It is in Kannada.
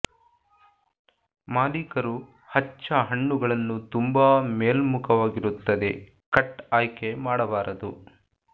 ಮಾಲೀಕರು ಹಚ್ಚ ಹಣ್ಣುಗಳನ್ನು ತುಂಬಾ ಮೇಲ್ಮುಖವಾಗಿರುತ್ತದೆ ಕಟ್ ಆಯ್ಕೆ ಮಾಡಬಾರದು